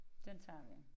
Den tager vi